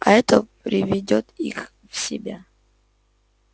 а это приведёт их в себя